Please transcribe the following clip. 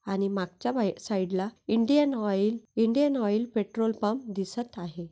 आणि मागच्या साइड ला Indian oil Indian oil petrol pump दिसत आहे.